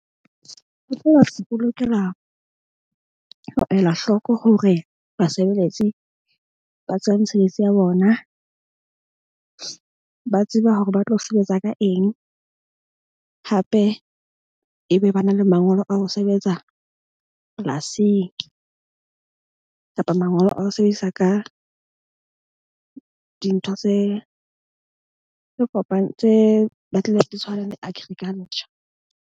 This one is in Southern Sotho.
Se ipolokela ho ela hloko hore basebeletsi ba tseba mesebetsi ya bona. Ba tsebe hore ba tlo sebetsa ka eng hape e be ba na le mangolo a ho sebetsa polasing kapa mangolo a ho sebedisa ka dintho tse re tse batlile di tshwana le agriculture.